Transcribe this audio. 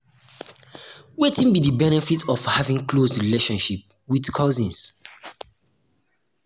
wetin be um di benefit of having close relationship with cousins?